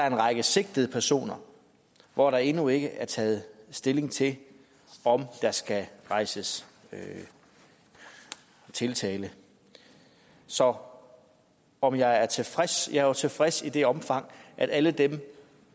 en række sigtede personer hvor der endnu ikke taget stilling til om der skal rejses tiltale så om om jeg er tilfreds jeg er jo tilfreds i det omfang at alle dem